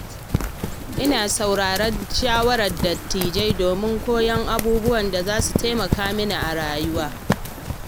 Ina sauraron shawarar dattijai domin koyon abubuwan da za su taimaka mini a rayuwata.